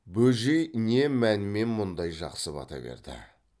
бөжей не мәнмен мұндай жақсы бата берді